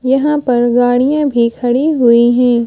यहाँ पर गाड़ियाँ भी खड़ी हुई हैं।